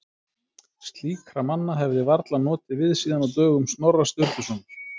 Slíkra manna hefði varla notið við síðan á dögum Snorra Sturlusonar.